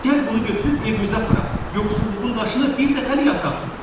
Gəl bunu götürüb evimizə aparaq, yoxsulluğun daşını bir dəfəlik yataq.